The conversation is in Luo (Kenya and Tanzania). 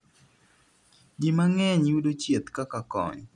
ji mang'eny yudo chieth kaka kony